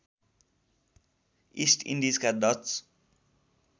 east इन्डिजका Dutch